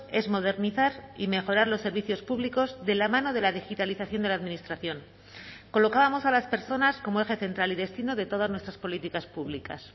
es modernizar y mejorar los servicios públicos de la mano de la digitalización de la administración colocábamos a las personas como eje central y destino de todas nuestras políticas públicas